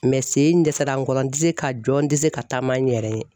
sen in n dɛsɛra n kɔrɔ n tɛ se ka jɔ n tɛ se ka taama n yɛrɛ ye.